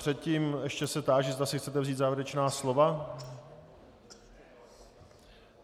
Předtím se ještě táži, zda si chcete vzít závěrečná slova.